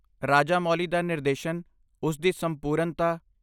ਰਾਜਾਮੌਲੀ ਦਾ ਨਿਰਦੇਸ਼ਨ, ਉਸ ਦੀ ਸੰਪੂਰਨਤਾ।